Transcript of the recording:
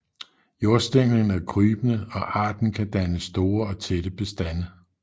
Jordstænglen er krybende og arten kan danne store og tætte bestande